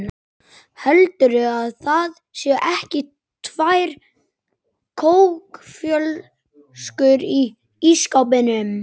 HELDURÐU AÐ ÞAÐ SÉU EKKI TVÆR KÓKFLÖSKUR Í ÍSSKÁPNUM!